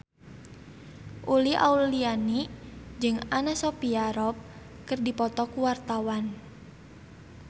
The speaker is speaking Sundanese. Uli Auliani jeung Anna Sophia Robb keur dipoto ku wartawan